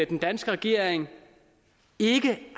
den danske regering ikke